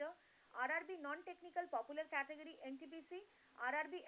RRB